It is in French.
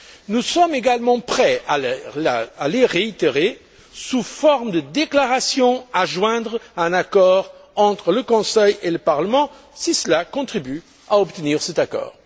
Nous sommes également prêts à les réitérer sous forme de déclarations à joindre à un accord entre le Conseil et le Parlement si cela contribue à obtenir cet accord.